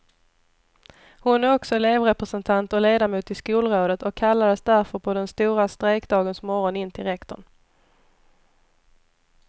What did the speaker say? Hon är också elevrepresentant och ledamot i skolrådet och kallades därför på den stora strejkdagens morgon in till rektorn.